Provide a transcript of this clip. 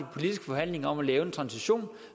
politiske forhandlinger om at lave en transition